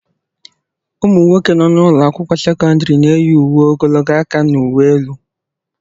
Ụmụ nwoke nọ n'ụlọ akwụkwọ sekọndrị na-eyi uwe ogologo aka n'uwe elu.